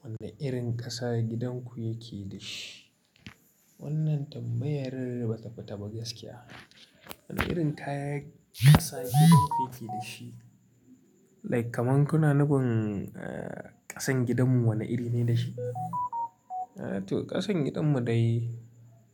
Wane irin ƙasa gidan ku yake da shi? Wannan tambayar ba ta fita ba gaskiya. Wane irin ƙasa gidanku yake dashi? Like kaman kuna nufun ƙasan gidanmu wane iri ne dashi? To ƙasan gidanmu dai